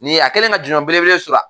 Nin a kelen ka jɔnjɔn belebele sɔrɔ.